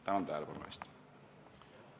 Tänan tähelepanu eest!